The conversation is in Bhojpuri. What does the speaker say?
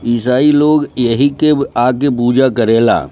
ईसाई लोग यही के आके पूजा करेला।